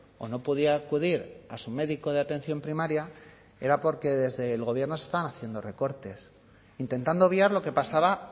o no podía acudir a su médico de atención primaria era porque desde el gobierno se estaban haciendo recortes intentando obviar lo que pasaba